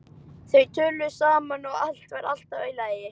Þau töluðu saman og allt var alltaf í lagi.